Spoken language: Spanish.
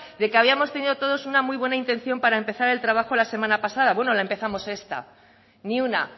de que habíamos tenido todos una muy buena intención para empezar el trabajo la semana pasada bueno la empezamos esta ni una